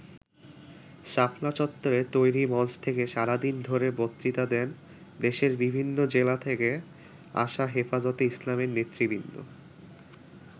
শাপলা চত্বরে তৈরি মঞ্চ থেকে সারাদিন ধরে বক্তৃতা দেন দেশের বিভিন্ন জেলা থেকে আসা হেফাজতে ইসলামের নেতৃবৃন্দ।